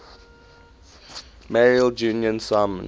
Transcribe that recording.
mailed julian simon